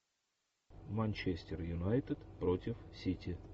манчестер юнайтед против сити